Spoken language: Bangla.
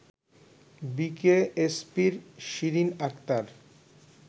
বিকেএসপির শিরিন আক্তার